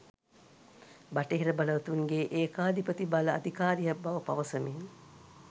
බටහිර බලවතුන්ගේ ඒකාධිපති බල අධිකාරියක් බව පවසමින්